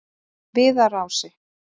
Viðarási